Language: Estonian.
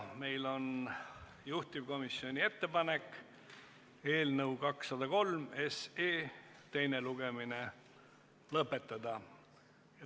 Meil on juhtivkomisjoni ettepanek eelnõu 203 teine lugemine lõpetada.